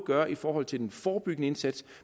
gøre i forhold til den forebyggende indsats